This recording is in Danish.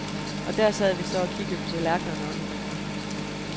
Og der sad vi så og kiggede på tallerkenerne og hinanden.